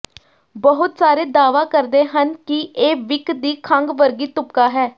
ਬਹੁਤ ਸਾਰੇ ਦਾਅਵਾ ਕਰਦੇ ਹਨ ਕਿ ਇਹ ਵਿਕ ਦੀ ਖੰਘ ਵਰਗੀ ਤੁਪਕਾ ਹੈ